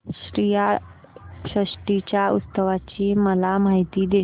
श्रीयाळ षष्टी च्या उत्सवाची मला माहिती दे